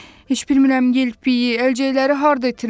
Heç bilmirəm yelpiki, əlcəkləri harda itirmişəm.